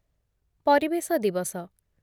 ପରିବେଶ ଦିବସ